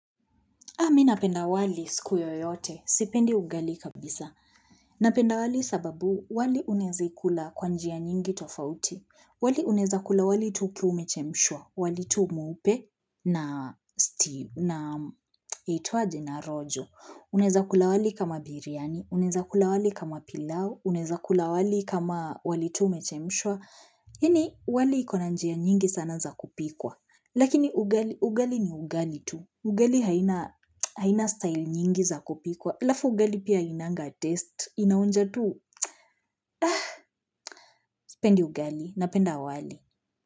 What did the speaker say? Mimi napenda wali siku yoyote. Sipendi ugali kabisa. Napenda wali sababu wali unawezaila kwa njia nyingi tofauti. Wali unaweza kuila wali tu ukiwa umechemshwa. Wali tu mweupe na yaitwaje, na rojo. Uneza kuila wali kama biriani. Unaweza kuila wali kama pilau. Unaweza kuila wali kama wali tu umechemshwa. Iakini wali ina njia nyingi sana za kupikwa. Lakini ugali ni ugali tu. Ugali hauna style nyingi za kupikwa. Halafu ugali pia hainanga test naonja tu. Sipendi ugali, napenda wali.